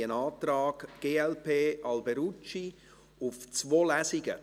Wir haben einen Antrag glp/Alberucci auf zwei Lesungen.